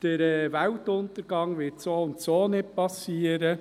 Der Weltuntergang wird so oder so nicht geschehen.